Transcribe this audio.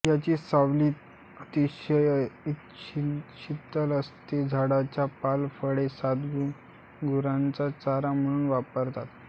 याची सावली अतिशय शीतल असते झाडाचा पाला फळे साल गुरांना चारा म्हणून वापरतात